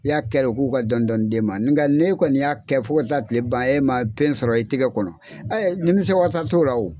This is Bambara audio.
I y'a kɛ k'u ka dɔɔnin dɔɔnin d'e ma nka, ne kɔni y'a kɛ fo taa kile ban ye, e ma fɛn sɔrɔ i tigɛ kɔnɔ, ninmisi wasa t'o la